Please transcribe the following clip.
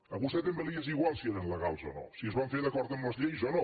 a vostè també li és igual si eren legals o no si es van fer d’acord amb les lleis o no